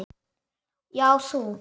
Já, þú!